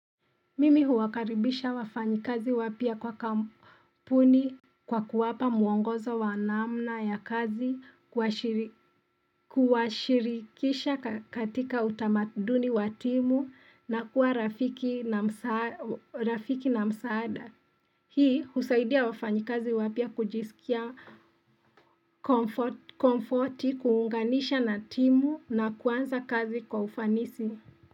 Mimi huwakaribisha wafanyi kazi wapya kwa kampuni kwa kuwapa muongoza wanamna ya kazi kuwashirikisha katika utamaduni wa timu na kuwa rafiki na msaada hii husaidia wafanyi kazi wapia kujisikia komforti kuunganisha na timu na kuanza kazi kwa ufanisi Si.